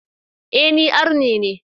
E, ni Arne ne.